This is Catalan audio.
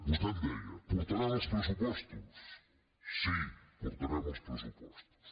vostè em deia portaran els pressupostos sí portarem els pressupostos